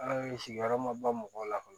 An ye sigiyɔrɔ ma ba mɔgɔw la